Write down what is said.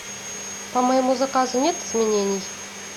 по моему заказу нет изменений